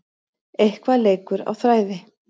Eitthvað leikur á þræði